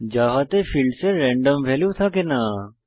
জাভাতে ফীল্ডসের random value থাকে না